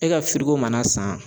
E ka mana san